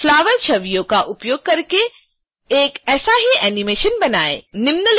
flower छवियों का उपयोग करके एक ऐसा ही एनीमेशन बनाएँ